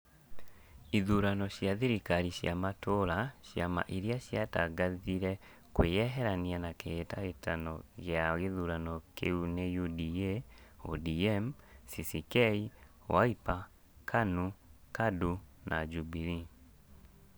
Ithurano cia thirikari cia matũra ,Ciama ĩrĩa ciatangathire kwĩyeherania na kĩhĩtahĩtano gĩa gĩthurano kĩu nĩ UDA, ODM, CCK,WIPER, KANU ,KANDU na Jubilee